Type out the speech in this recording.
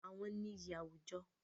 Àwọn ni ìyí àwùjọ.